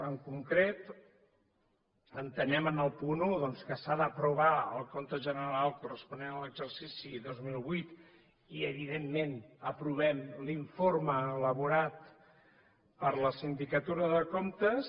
en concret entenem en el punt un doncs que s’ha d’aprovar el compte general corresponent a l’exercici dos mil vuit i evidentment aprovem l’informe elaborat per la sindicatura de comptes